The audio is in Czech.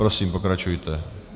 Prosím, pokračujte.